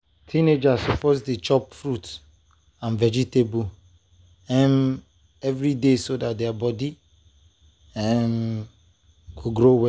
teenagers suppose to dey chop fruit and vegetables um every day so dat their body um go grow well.